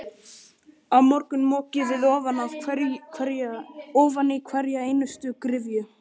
Á morgun mokið þið ofan í hverja einustu gryfju.